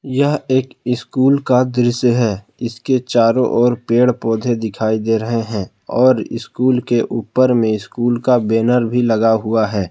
यह एक स्कूल का दृश्य है इसके चारों ओर पेड़ पौधे दिखाई दे रहे हैं और स्कूल के ऊपर में स्कूल का बैनर भी लगा हुआ है।